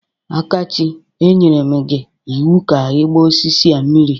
Akachi, e nyere m gi iwu ka ịgba osisi a mmiri!